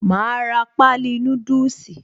Màá ra páálí núdùsì